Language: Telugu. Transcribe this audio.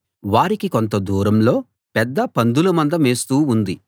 వారికి కొంత దూరంలో పెద్ద పందుల మంద మేస్తూ ఉంది